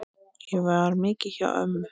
Ég var mikið hjá ömmu.